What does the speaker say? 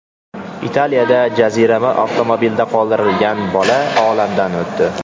Italiyada jaziramada avtomobilda qoldirilgan bola olamdan o‘tdi.